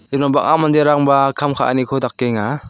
bang·a manderangba kam ka·aniko dakenga.